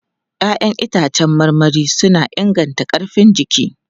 Ya'yan itãcen marmari suna inganta ƙarfin jiki.